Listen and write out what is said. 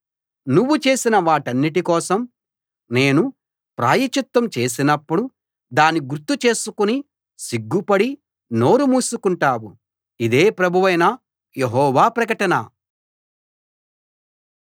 నువ్వు చేసిన వాటన్నిటి కోసం నేను ప్రాయశ్చిత్తం చేసినప్పుడు దాన్ని గుర్తు చేసుకుని సిగ్గుపడి నోరు మూసుకుంటావు ఇదే ప్రభువైన యెహోవా ప్రకటన